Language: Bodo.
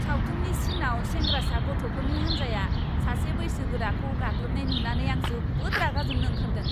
सावथुननि सिनआव सेंग्रासा गथ'फोरनि हानजाया सासे बैसोगोराखौ गाग्लोबनाय नुनानै आं जोबोद रागा जोंनो ओंखारदों।